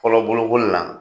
Fɔlɔ bolokoli na